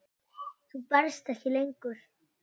Þú berst ekki lengur.